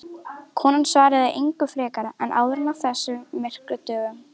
Konan svaraði engu frekar en áður á þessum myrku dögum.